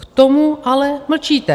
K tomu ale mlčíte.